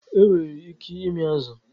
E nwere ike ịmị azu.